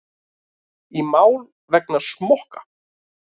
Í mál vegna smokka